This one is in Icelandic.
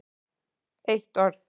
Eitt orð